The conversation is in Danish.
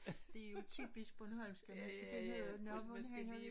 Det jo typisk bornholmsk at man skal finde ud af nå hvordan hænger det